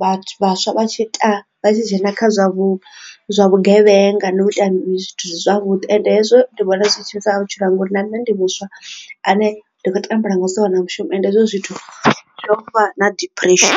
vhathu vhaswa vha tshi ita vha tshi dzhena kha zwa zwa vhugevhenga ndi vhuṱanzi zwithu zwavhuḓi ende hezwo ndi vhona zwi shumisa na vhutshilo ngori na nṋe ndi muswa ane ndi khou tambula nga u sa vha na mushumo ende hezwo zwithu zwi no vha na depression.